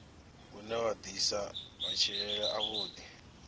une wa ḓisa matshilele avhuḓi